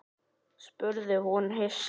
spurði hún hissa.